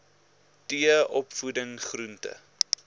t opvoeding groente